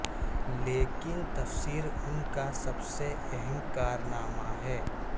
لیکن تفسیر ان کا سب سے اہم کارنامہ ہے